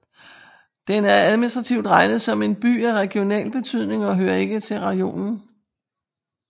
Den er administrativt regnet som en By af regional betydning og hører ikke til rajonen